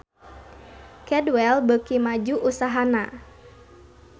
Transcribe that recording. Cadwell beuki maju usahana